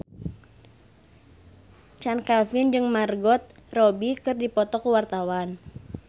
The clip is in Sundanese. Chand Kelvin jeung Margot Robbie keur dipoto ku wartawan